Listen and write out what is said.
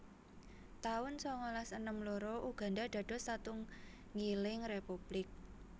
taun sangalas enem loro Uganda dados satunggiling republik